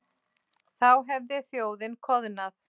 Þá hefði þjóðin koðnað.